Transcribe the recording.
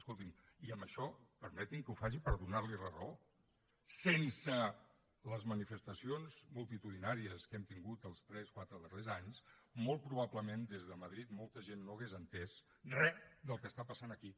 escolti’m i amb això permeti’m que ho faci per donarli la raó sense les manifestacions multitudinàries que hem tingut els tres quatre darrers anys molt probablement des de madrid molta gent no hauria entès re del que està passant aquí